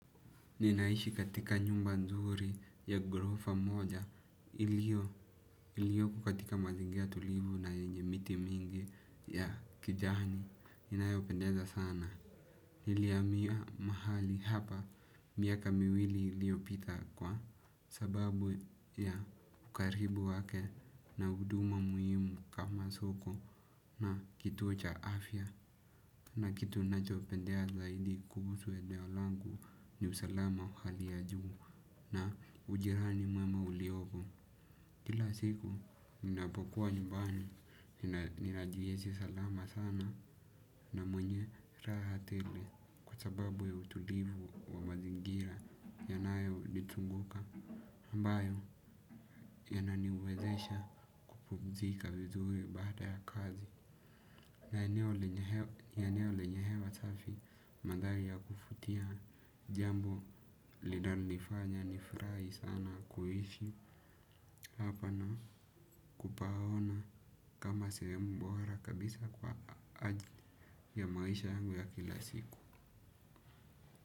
Ninaishi katika nyumba nzuri ya gorofa moja iliyo katika mazingira tulivu na enye miti mingi ya kijani inayopendeza sana. Niliamia mahali hapa miaka miwili iliopita kwa sababu ya ukaribu wake na huduma muhimu kama soko na kitu cha afya na kitu nacho pendea zaidi kuhusu eneo langu ni usalama wa hali ya juu na ujirani mwema uliopo. Kila siku ninapokuwa nyumbani, ninajihizi salama sana na mwenye raha tele kwa sababu ya utulivu wa mazingira yanayo litunguka mbayo yananiwezesha kupumzika vizuri baada ya kazi. Na eneo lenye hewa safi madari ya kufutia jambo linalonifanya nifurai sana kuhishi. Hapa na kupaona kama sehemu bora kabisa kwa ajili ya maisha yangu ya kila siku.